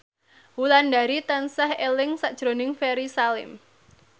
Wulandari tansah eling sakjroning Ferry Salim